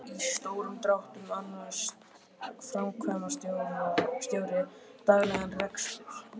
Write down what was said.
Í stórum dráttum annast framkvæmdastjóri daglegan rekstur fyrirtækisins.